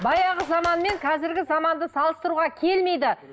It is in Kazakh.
баяғы заман мен қазіргі заманды салыстыруға келмейді